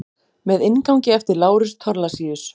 Með inngangi eftir Lárus Thorlacius.